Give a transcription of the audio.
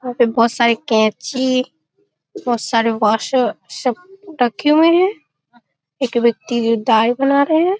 वहाँ पे बहुत सारे कैंची बहुत सारे वाशर सब रखे हुए हैं एक व्यक्ति दाड़ी बना रहे हैं।